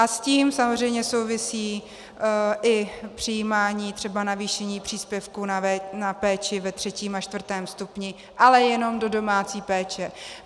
A s tím samozřejmě souvisí i přijímání třeba navýšení příspěvků na péči ve 3. a 4. stupni, ale jenom do domácí péče.